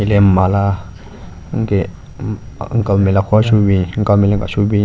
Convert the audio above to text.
Hile mala ngen uncle nme le akhuka shobin uncle nme le nka shobin.